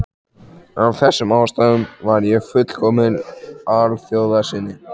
Af þessum ástæðum var ég fullkominn alþjóðasinni.